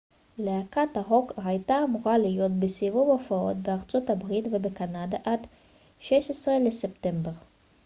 להקת הרוק הייתה אמורה להיות בסיבוב הופעות בארצות הברית ובקנדה עד ה-16 בספטמבר